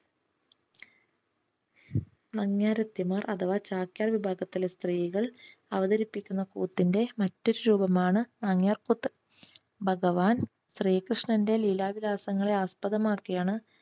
നങ്യാർത്തിമാർ അഥവാ ചാക്യാർ വിഭാഗത്തിലെ സ്ത്രീകൾ അവതരിപ്പിക്കുന്ന കൂത്തിന്റെ മറ്റൊരു രൂപമാണ് നങ്യാർ കൂത്ത്. ഭഗവാൻ ശ്രീകൃഷ്ണന്റെ ലീലാവിലാസങ്ങളെ ആസ്പദമാക്കിയാണ്